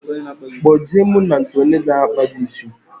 Kpo je mụ na nke onye n'akpa gi ísì